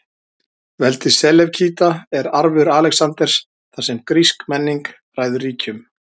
Veldi Selevkída er arfur Alexanders, þar sem grísk menning ræður ríkjum.